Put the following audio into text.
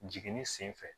Jiginni senfɛ